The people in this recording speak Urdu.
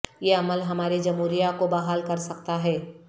یہ عمل ہمارے جمہوریہ کو بحال کر سکتا ہے